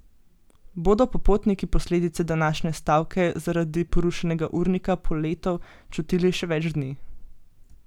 Bodo pa potniki posledice današnje stavke zaradi porušenega urnika poletov čutili še več dni.